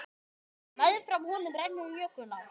Meðfram honum rennur jökulá.